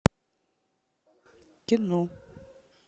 кино